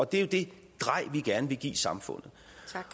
det er jo det drej vi gerne vil give samfundet